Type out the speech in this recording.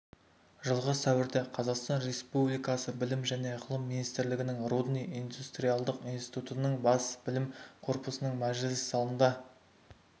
жылғы сәуірде қазақстан республикасы білім және ғылым министрлігінің рудный индустриалдық институтының бас білім корпусының мәжіліс залында